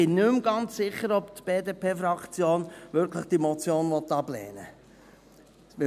Ich bin nicht mehr ganz sicher, ob die BDP-Fraktion diese Motion wirklich ablehnen will.